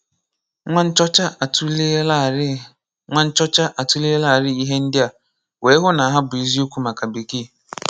Nwa nchọ̀cha atùlèèlàrí Nwa nchọ̀cha atùlèèlàrí ihe ndị a wee hụ́ na hà bụ́ eziokwu maka Békèe.